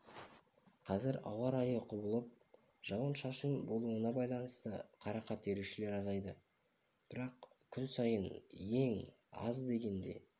қазір ауа райының құбылып шауын-шашын болуына байланысты қарақат терушілер азайды бірақ күн сайын ең аз дегенде